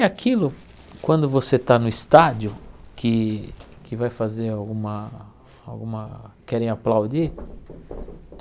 E aquilo, quando você está no estádio, que que vai fazer alguma alguma... querem aplaudir?